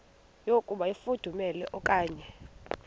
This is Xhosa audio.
yokuba ifudumele okanye